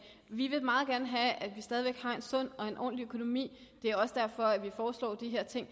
vi vil meget gerne have at vi stadig væk har en sund og en ordentlig økonomi det er også derfor at vi foreslår de her ting